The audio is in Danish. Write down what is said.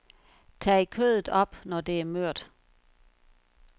Tag kødet op når det er mørt.